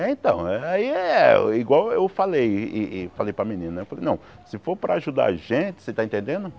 É então, eh aí é, igual eu falei e e para a menina, eu falei, não, se for para ajudar a gente, você está entendendo?